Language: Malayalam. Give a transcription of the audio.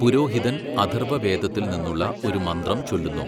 പുരോഹിതൻ അഥർവവേദത്തിൽ നിന്നുള്ള ഒരു മന്ത്രം ചൊല്ലുന്നു.